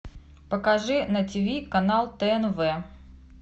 покажи на тиви канал тнв